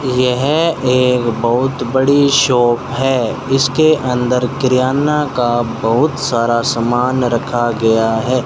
यह एक बहुत बड़ी शॉप है इसके अंदर किराने का बहुत सारा सामान रखा गया है।